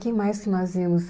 Quem mais que nós íamos?